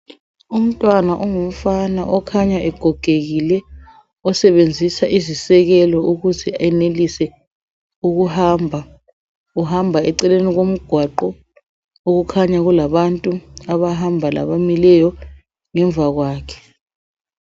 Umntwana ongumfana okhanya egogekile osebenzisa izisekelo ukuze enelise ukuhamba uhamba eceleni kwomgwaqho okukhanya kulabantu abahamba labamileyo ngemva kwakhe